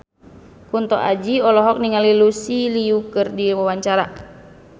Kunto Aji olohok ningali Lucy Liu keur diwawancara